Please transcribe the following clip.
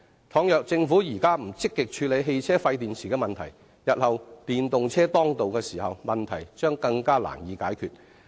如果政府現在不積極處理汽車廢電池的問題，日後電動車當道，問題將更難以解決。